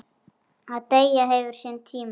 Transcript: Að deyja hefur sinn tíma.